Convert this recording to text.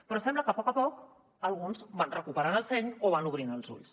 però sembla que a poc a poc alguns van recuperant el seny o van obrint els ulls